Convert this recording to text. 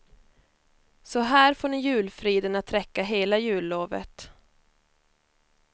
Så här får ni julfriden att räcka hela jullovet.